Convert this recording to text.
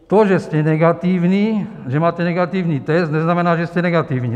To, že ste negatívny, že máte negatívny test, neznamená, že ste negatívny.